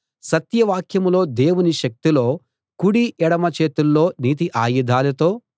సత్యవాక్యంలో దేవుని శక్తిలోకుడి ఎడమ చేతుల్లో నీతి ఆయుధాలతో